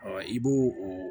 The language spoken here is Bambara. i b'o o